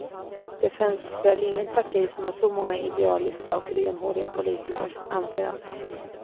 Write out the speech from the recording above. Det finns väl inget parti som har så många idealistiska och renhåriga politiker, anser han.